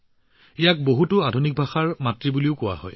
ইয়াক বহু আধুনিক ভাষাৰ মাতৃ বুলিও কোৱা হয়